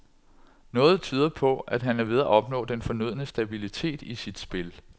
Noget tyder på, at han er ved at opnå den fornødne stabilitet i sit spil.